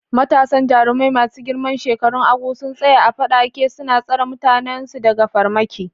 Matasan jarumai masu girman shekarun Agu sun tsaya a faɗake, suna tsare mutanensu daga farmaki.